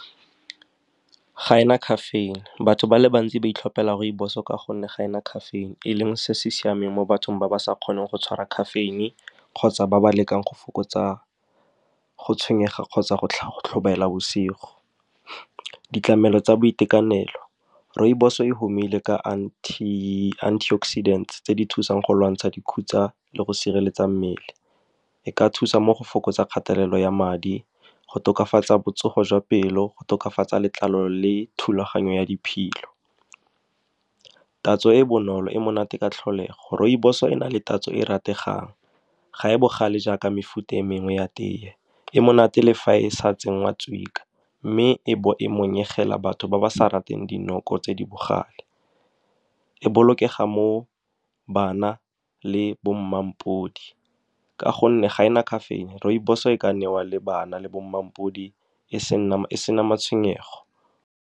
Ga e na caffeine. Batho ba le bantsi ba itlhopela rooibos-o ka gonne ga e na caffeine-e, e leng se se siameng mo bathong ba ba sa kgoneng go tshwara caffeine-e kgotsa ba ba lekang go fokotsa go tshwenyega kgotsa go tlhobaela bosigo. Ditlamelo tsa boitekanelo, rooibos-o e humile ka antioxidants tse di thusang go lwantsha dikhutsa le go sireletsa mmele. E ka thusa mo go fokotsa kgatelelo ya madi, go tokafatsa botsogo jwa pelo, go tokafatsa letlalo le thulaganyo ya diphilo. Tatso e e bonolo, e monate ka tlholego, rooibos-o e na le tatso e e rategang. Ga e bogale jaaka mefuta e mengwe ya tee. E monate le fa e sa tsengwa , mme e bo e monyegela batho ba ba sa rateng dinoko tse di bogale. E bolokega mo bana le bo mma ka gonne ga e na caffeine-e. Rooibos-o e ka newa le bana le bo mma e sena matshwenyego.